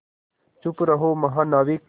चुप रहो महानाविक